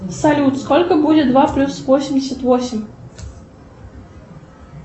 салют сколько будет два плюс восемьдесят восемь